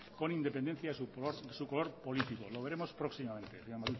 con independencia a su color político lo veremos próximamente señor